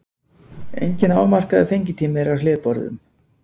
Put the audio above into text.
Enginn afmarkaður fengitími er hjá hlébörðum.